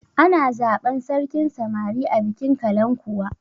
Ana zaban sarkin samari a bikin kalankuwa